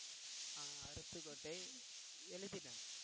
அஹ் அருப்புக்கோட்டை எழுதிட்டேன்